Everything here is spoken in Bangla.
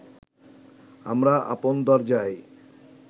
আমার আপন দরজায়